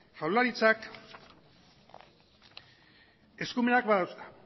jaurlaritzak eskumenak badauzka